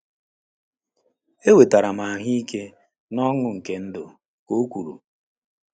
Enwetara m ahụike na ọṅụ nke ndụ, ka o kwuru.